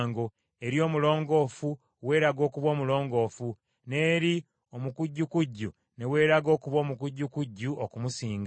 eri omulongoofu weeraga okuba omulongoofu n’eri omukujjukujju ne weeraga okuba omukujjukujju okumusinga.